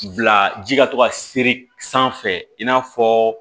Bila ji ka to ka sere sanfɛ i n'a fɔ